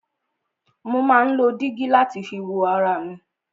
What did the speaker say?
Mo má ń lo dígí láti fi wo ara mi.